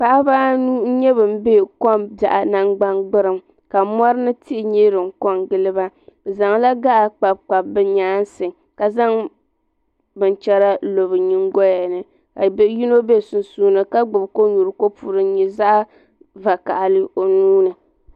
Paɣaba anu n nyɛ ban be ko'biaɣu nangban gburiŋ ka mori ni tihi nyɛ din kongili ba bɛ zaŋla gaɣa kpabi kpabi bɛ nyaansi ka zaŋ binchera n lo bɛ nyingoya ni ka do'yino bɛ sunsuuni ka gbibi Konyuri kopu din nyɛ zaɣa vakahali o nuuni.